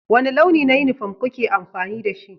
Wani launi na yunifom kuke amfani da shi?